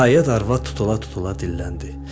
Nəhayət arvad tutula-tutula dilləndi.